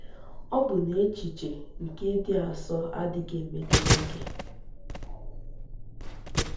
Ọ̀ bụ na echiche nke ịdị asọ adịghị emetụta gị?